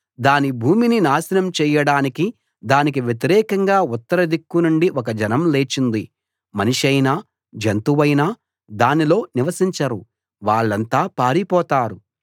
దాని భూమిని నాశనం చేయడానికి దానికి వ్యతిరేకంగా ఉత్తర దిక్కునుండి ఒక జనం లేచింది మనిషైనా జంతువైనా దానిలో నివసించరు వాళ్ళంతా పారిపోతారు